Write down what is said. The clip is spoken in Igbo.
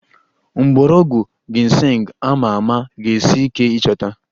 Mgbọrọgwụ Ginseng a ma ama ga-esi ike ịchọta